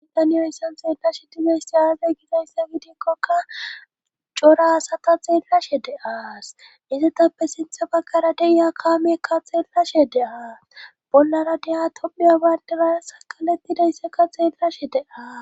Idaniyoisson xeellashe dileysti aazey gizayssa gidikkoka cora asata xeellashe de aas izetappe sintha bagkara deiya kaamiekka xeellashe de7"aa bollara deya topiya bayndelara sakalettidayssakka xeellashe deas